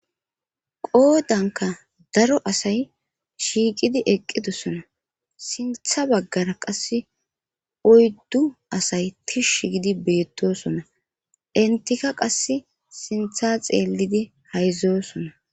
Qoodanka daro asay shiiqidi eqqidossona sintha baggara qasse oyddu asay tish gidi beettosona intika qass sintha xeellidi hayzoosona